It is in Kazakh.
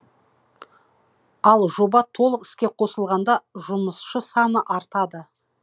ал жоба толық іске қосылғанда жұмысшы саны артады